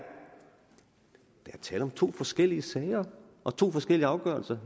tale om to forskellige sager og to forskellige afgørelser